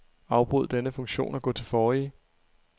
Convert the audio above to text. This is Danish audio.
Afbryd denne funktion og gå til forrige.